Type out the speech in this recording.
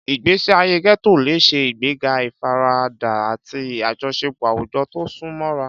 Ìgbésí ayé ghetto lè ṣe ìgbéga ìfaradà àti àjọṣepọ̀ àwùjọ tó sún mọ́ra.